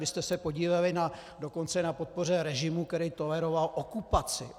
Vy jste se podíleli dokonce na podpoře režimu, který toleroval okupaci.